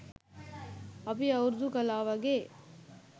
අපි අවුරුදු කලා වගේ